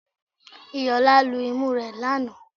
Iyìolá lu imú rẹ̀ lanàá